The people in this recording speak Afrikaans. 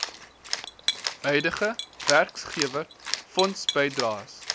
huidige werkgewer fondsbydraes